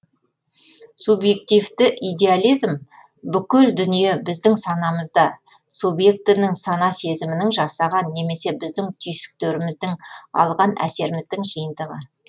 субьъективті идеализм бүкіл дүние біздің санамызда субьектінің сана сезімінің жасаған немесе біздің түйсіктеріміздің алған әсеріміздің жиынтығы